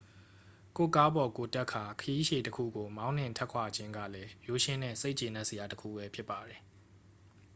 ကိုယ့်ကားပေါ်ကိုယ်တက်ကာ ခရီးရှည်တစ်ခုကို မောင်းနှင်ထွက်ခွာခြင်းကလည်း ရိုးရှင်းတဲ့ စိတ်ကျေနပ်စရာ တစ်ခုဘဲ ဖြစ်ပါတယ်